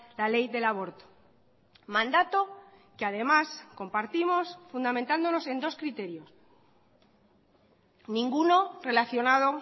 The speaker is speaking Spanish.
la ley del aborto mandato que además compartimos fundamentándonos en dos criterios ninguno relacionado